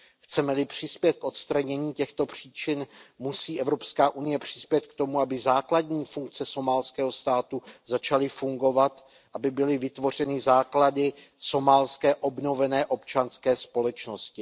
Chceme li přispět k odstranění těchto příčin, musí Evropská unie přispět k tomu, aby základní funkce somálského státu začaly fungovat, aby byly vytvořeny základy somálské obnovené občanské společnosti.